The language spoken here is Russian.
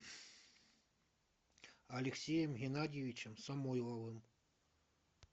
алексеем геннадьевичем самойловым